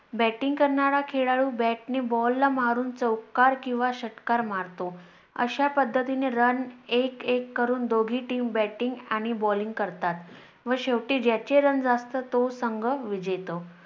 batting करणारा खेळlडू bat ने ball ला मारून चौकार किंवा षटकार मारतो. अशा पद्धतीने Run एक एक करून दोघी team batting आणि balling करतात व शेवटी ज्याचे Run जास्त तो संघ विजेतो.